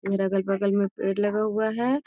इधर अगल-बगल में पेड़ लगा हुआ है।